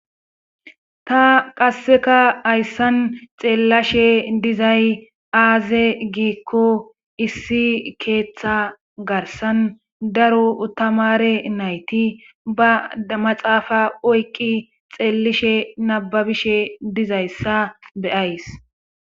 Ta qasseka hayssan xeellashe dizay aaze giikko issi keeththa garsan daro utamare nayti ba damaxaafa oykki xeellishe nababishe dizayssa beyays.